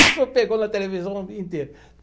Isso pegou na televisão o dia inteiro.